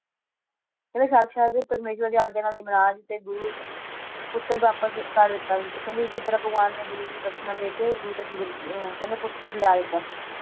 ਕਹਿੰਦੇ ਸਾਕਸ਼ਾਤ ਪਰਮੇਸ਼੍ਵਰ ਦੇ ਆਗਯਾ ਨਾਲ ਯਮਰਾਜ ਤੇ ਗੁਰੂ ਪੁੱਤਰ ਵਾਪਸ ਕਰ ਦਿੱਤਾ ਤੇ ਕਹਿੰਦੇ ਅੱਸੀ ਤਰਾਹ ਭਗਵਾਨ ਨੇ ਗੁਰੂ ਦੀ ਦਕ੍ਸ਼ਿਣਾ ਦੇਕੇ ਗੁਰੂ ਦਾ ਜਵਾਨ~ ਕਹਿੰਦੇ ਪੁੱਤਰ ਲਿਆ ਦਿੱਤਾ ਸੀ।